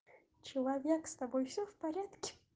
человек с тобой всё в порядке